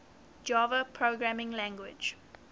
java programming language